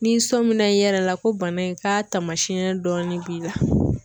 Ni sominɛn yɛrɛ la ko bana in ka taamasiyɛn dɔɔnin b'i la.